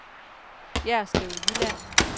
Jerslev Jylland